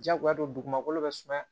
Diyagoya don dugumakolo bɛ suma